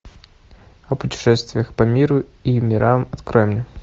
о путешествиях по миру и мирам открой мне